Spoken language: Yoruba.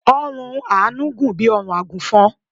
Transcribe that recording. ọrùn Anu gùn bí órùn agùnfọn